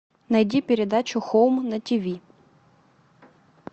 найди передачу хоум на тв